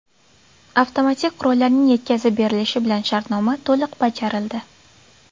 Avtomatik qurollarning yetkazib berilishi bilan shartnoma to‘liq bajarildi.